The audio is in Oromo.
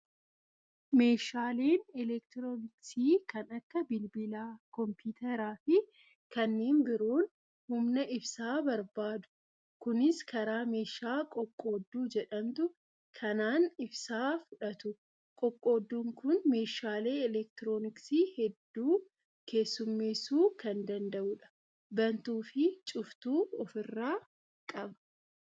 Meeshaaleen elektirooniksii kan akka bilbilaa, kompiitaraa, fi kanneen biroon humna ibsaa barbaadu. Kunis karaa meeshaa qoqqoodduu jedhamtu kanaan ibsaa fudhatu. Qoqqoodduun kun meeshaalee elektirooniksii hedduu keessummeessuu kan danda'udha. Bantuu fi cuftuu ofirraa qaba.